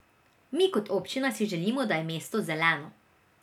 Mi kot občina si želimo, da je mesto zeleno.